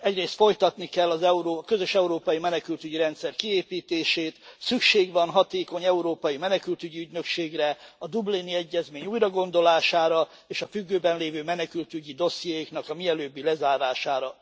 Egyrészt folytatni kell a közös európai menekültügyi rendszer kiépítését, szükség van hatékony európai menekültügyi ügynökségre, a Dublini Egyezmény újragondolására és a függőben lévő menekültügyi dossziéknak a mielőbbi lezárására.